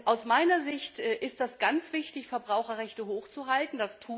Aus meiner Sicht ist es ganz wichtig, Verbraucherrechte hochzuhalten.